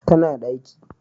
Ta na daki